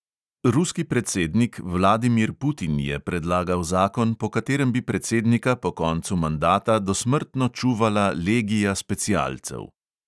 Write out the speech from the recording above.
Ruski predsednik vladimir putin je predlagal zakon, po katerem bi predsednika po koncu mandata dosmrtno čuvala legija specialcev.